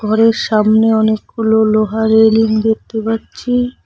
ঘরের সামনে অনেকগুলো লোহা রেলিং দেখতে পাচ্ছি।